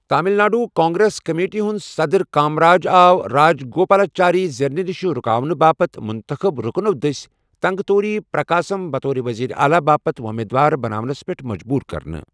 Tamil Nadu Congress committee ہُنٛد صدٕر کامراجَ آو راجگوپالاچاری زیننہٕ نِش رُکاونہٕ باپتھ ، منتخب رُكنو٘ دٔسۍ ،تنگوتوری پرکاسم بطور وزیر اعلیٰ باپت وۄمیدوار بناونَس پٮ۪ٹھ مجبوٗر كرنہٕ ۔